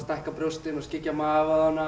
stækka brjóstin og skyggja magavöðvana